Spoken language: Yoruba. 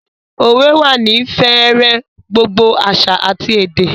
Òwe wà ní fẹ̀rẹ̀ gbogbo àṣà àti èdè